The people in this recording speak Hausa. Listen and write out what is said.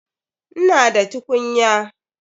Ina da tukunya.